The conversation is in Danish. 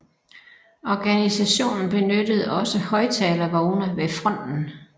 Organisationen benyttede også højttalervogne ved fronten